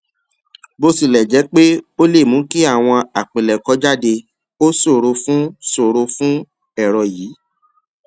bó tilè jé pé ó lè mú kí àwọn àpilèkọ jáde ó ṣòro fún ṣòro fún èrọ yìí